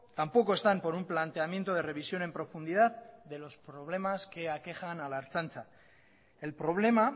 tampoco están por un planteamiento de revisión en profundidad de los problemas que aquejan a la ertzaintza el problema